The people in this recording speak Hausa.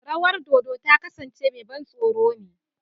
Rawar dodo ta kasance mai ban tsoro ne.